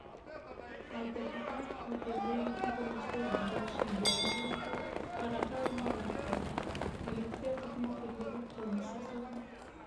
айта кетейік пәтерлі үйдің құрылысы биыл шілде айында басталып қараша айында аяқталды полиция қызметкерлері қылмыс жасаған